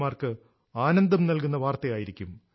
O mark ആനന്ദം നൽകുന്ന വാർത്തയായിരിക്കും